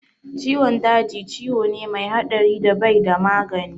Ciwon daji ciwo ne mai haɗari da bai da magani